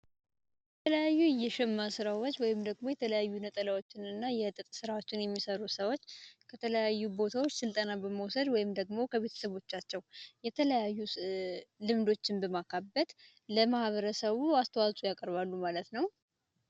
የተለያዩ የሸማ ስራዎች ወይንም ደግሞ የተለያዩ ነጠላዎችን እና የጥጥ ስራዎችን የሚሰሩ ሰዎች ከተለያዩ ስልጠናዎችን በመውሰድ ወይንም ደግሞ ከቤተሰቦቻቸው የተለያዩ ልምዶችን በማካበት ለማህበረሰቡ አስተዋጽኦ ያቀርባሉ ማለት ነው።